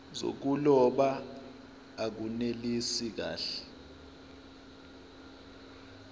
zokuloba akunelisi kahle